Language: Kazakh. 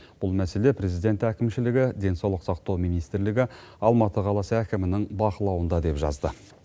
бұл мәселе президент әкімшілігі денсаулық сақтау министрлігі алматы қаласы әкімінің бақылауында деп жазды